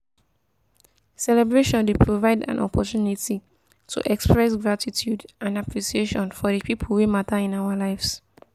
celebration dey provide an opportunity to express gratitude and appreciation for di people wey mata in our lives.